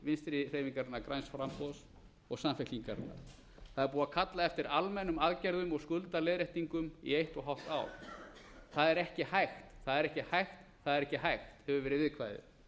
vinstri hreyfingarinnar græns framboðs og samfylkingarinnar það er búið að kalla eftir almennum aðgerðum úr skuldaleiðréttingum í eitt og hálft ár það er ekki hægt það er ekki hægt það er ekki hægt hefur verið viðkvæðið